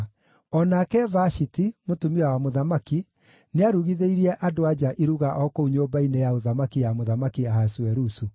O nake Vashiti, mũtumia wa mũthamaki, nĩarugithĩirie andũ-a-nja iruga o kũu nyũmba-inĩ ya ũthamaki ya Mũthamaki Ahasuerusu.